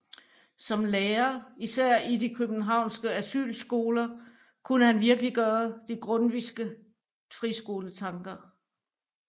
Som lærer især i de københavnske Asylskoler kunne han virkeliggøre de grundtvigske friskoletanker